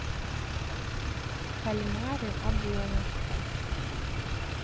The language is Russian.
кальмары обломов